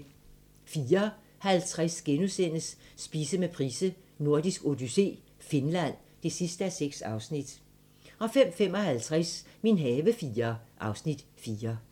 04:50: Spise med Price: Nordisk Odyssé - Finland (6:6)* 05:55: Min have IV (Afs. 4)